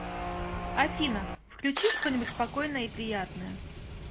афина включи что нибудь спокойное и приятное